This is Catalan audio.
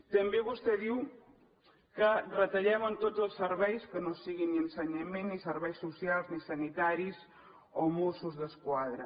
també vostè diu que retallem en tots els serveis que no siguin ni ensenyament ni serveis socials ni sanitaris o mossos d’esquadra